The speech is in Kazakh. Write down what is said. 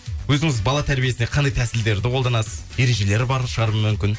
өзіңіз бала тәрбиесіне қандай тәсілдерді қолданасыз ережелері бар шығар мүмкін